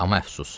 Amma əfsus.